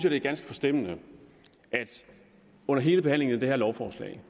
at det er ganske forstemmende at vi under hele behandlingen af det her lovforslag